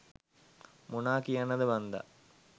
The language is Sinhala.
මොනා කියන්නද මන්ද